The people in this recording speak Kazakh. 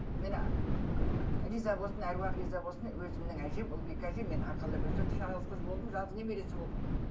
міне риза болсын әруағы риза болсын өзімнің әжем ұлбике әжем мені арқалап өсірді жалғыз қыз болдым жалғыз немересі болдым